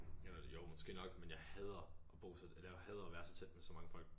Eller jo måske nok men jeg hader at bo sådan eller jeg hader at være så tæt på så mange folk